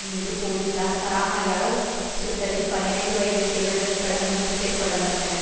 மீது போலிசார் சராமாரியாக சுட்டதில் பனிரண்டு வயது சிறுவன் உட்பட மூன்றுபேர் கொல்ல பட்டனர்